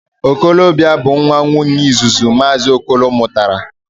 Okolobia bu nwa Nwunyee izuzu Maazi Okolo rutara.